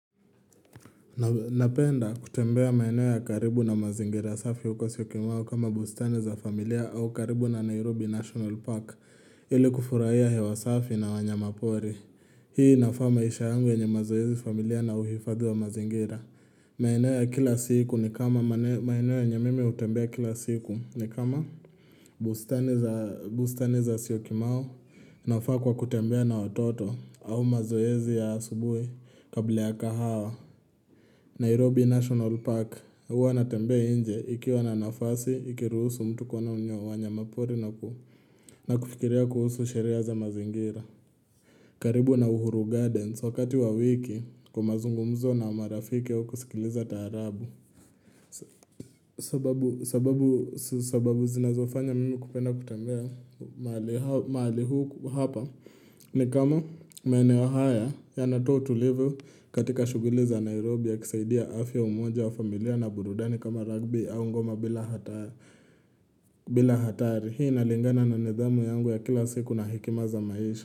Napenda kutembea maeneo ya karibu na mazingira safi uko syokimau kama bustani za familia au karibu na Nairobi National Park ili kufurahia hewa safi na wanyamapori. Hii inafaa maisha yangu yenye mazoezi familia na uhifadhi wa mazingira. Maeneo ya kila siku ni kama maeneo yenye mimi hutembea kila siku ni kama bustani za siyokimau nafaa kwa kutembea na watoto au mazoezi ya asubuhi kabla ya kahawa. Nairobi National Park huwa natembea nje ikiwa na nafasi, ikiruhusu mtu kuwaona wanyamapori na ku na kufikiria kuhusu sheria za mazingira. Karibu na uhuru Gardens wakati wa wiki kwa mazungumzo na marafiki wa kusikiliza taarabu. Sababu zinazofanya mimi kupenda kutembea mahali huu hapa. Ni kama maeneo haya yanatoa utulivu katika shughuli za Nairobi ya kusaidia afya, umoja wa familia na burudani kama Rugby au ngoma bila hata bila hatari hii inalingana na nidhamu yangu ya kila siku na hekima za maisha.